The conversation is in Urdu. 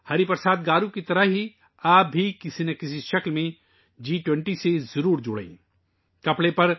ہری پرساد گارو کی طرح، آپ کو بھی کسی نہ کسی طریقے سے جی 20 میں شامل ہونا چاہیئے